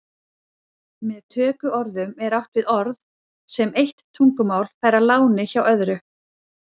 Með tökuorðum er átt við orð sem eitt tungumál fær að láni hjá öðru.